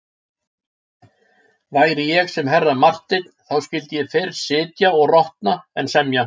Væri ég sem herra Marteinn þá skyldi ég fyrr sitja og rotna en semja.